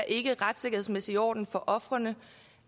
ikke retssikkerhedsmæssigt i orden for ofrene